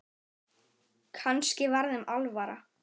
Kannski var þeim alvara.